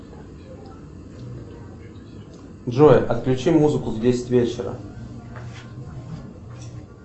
джой отключи музыку в десять вечера